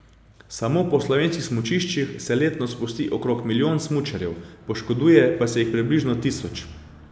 Samo po slovenskih smučiščih se letno spusti okrog milijon smučarjev, poškoduje pa se jih približno tisoč.